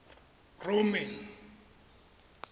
roman